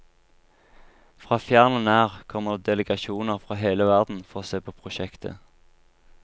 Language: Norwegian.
Fra fjern og nær kommer det delegasjoner fra hele verden for å se på prosjektet.